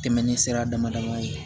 Tɛmɛnen sira dama dama ye